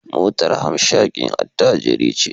Motar hamshakin attajiri ce